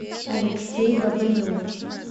алексей бобылев